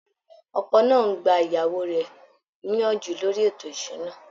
Ọkọ náà ń gba ìyàwó rẹ̀ níyànjú lórí ètò ìṣúná